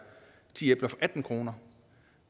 ti æbler for atten kroner